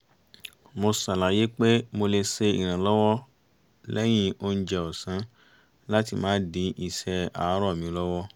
mo ṣàlàyé pé mo lè ṣe ìrànlọ́wọ́ lẹ́yìn oúnjẹ ọ̀sán láti má dí iṣẹ́ àárọ̀ mi lọ́wọ́